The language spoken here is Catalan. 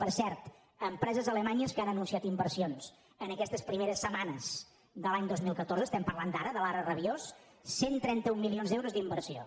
per cert empreses alemanyes que han anunciat inversions en aquestes primeres setmanes de l’any dos mil catorze estem parlant d’ara de l’ara rabiós cent i trenta un milions d’euros d’inversió